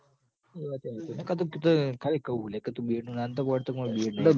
એ વાતય હાચી ન ક આતો તું તો ખાલી કઉં હું લ્યા ક તું Bed નું ના નતો પડતો કે માર Bed નહીં ક